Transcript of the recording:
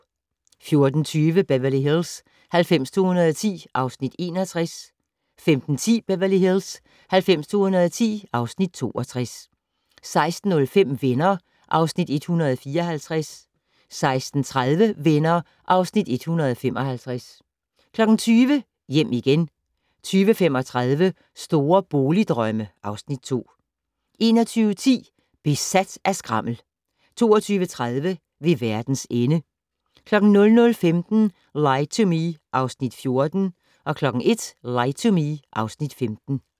14:20: Beverly Hills 90210 (Afs. 61) 15:10: Beverly Hills 90210 (Afs. 62) 16:05: Venner (Afs. 154) 16:30: Venner (Afs. 155) 20:00: Hjem igen 20:35: Store boligdrømme (Afs. 2) 21:10: Besat af skrammel 22:30: Ved verdens ende 00:15: Lie to Me (Afs. 14) 01:00: Lie to Me (Afs. 15)